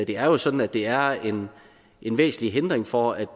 det er jo sådan at det er en en væsentlig hindring for at